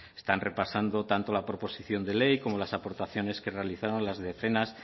están repasando tanto la proposición de ley como las aportaciones que realizaron las decenas